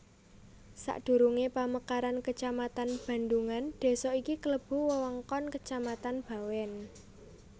Sadurungé pamekaran kecamatan Bandhungan désa iki klebu wewengkon kecamatan Bawèn